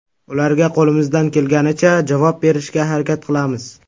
Ularga qo‘limizdan kelganicha javob berishga harakat qilamiz.